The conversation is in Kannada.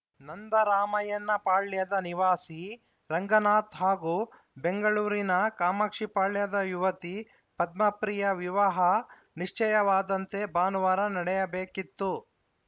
ನಂದರಾಮಯ್ಯನಪಾಳ್ಯದ ನಿವಾಸಿ ರಂಗನಾಥ್‌ ಹಾಗೂ ಬೆಂಗಳೂರಿನ ಕಾಮಾಕ್ಷಿಪಾಳ್ಯದ ಯುವತಿ ಪದ್ಮಪ್ರಿಯ ವಿವಾಹ ನಿಶ್ಚಯವಾದಂತೆ ಭಾನುವಾರ ನಡೆಯಬೇಕಿತ್ತು